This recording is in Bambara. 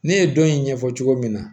Ne ye dɔn in ɲɛfɔ cogo min na